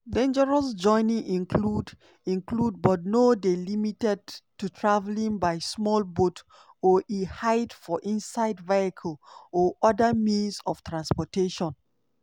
"dangerous journey include include but no dey limited to travelling by small boat or e hide for inside vehicle or oda means of transportation."